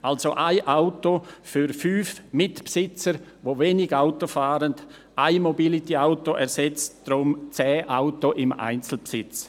Also: 1 Auto für 5 Mitbesitzer, die wenig Auto fahren: 1 Mobility-Auto ersetzt deshalb 10 Autos in Einzelbesitz.